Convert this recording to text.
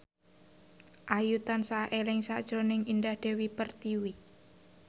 Ayu tansah eling sakjroning Indah Dewi Pertiwi